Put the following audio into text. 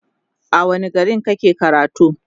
a wani gari kake karatu?